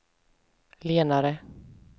lenare